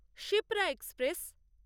Shipra express